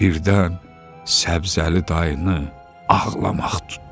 Birdən Səbzəli dayını ağlamaq tutdu.